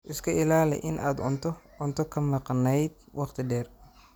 Iska ilaali in aad cunto cunto ka maqnayd wakhti dheer.